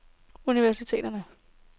universiteter